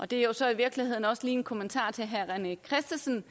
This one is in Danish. det er jo så i virkeligheden også en kommentar til herre rené christensen